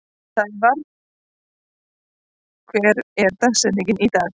Snævarr, hver er dagsetningin í dag?